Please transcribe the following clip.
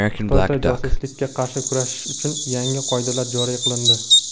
Xitoyda josuslikka qarshi kurashish uchun yangi qoidalar joriy qilindi.